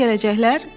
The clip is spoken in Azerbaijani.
Nə üçün gələcəklər?